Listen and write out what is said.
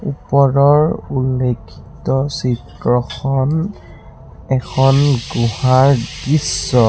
ওপৰৰ উল্লেখিত চিত্ৰখন এখন গুহাৰ দৃশ্য।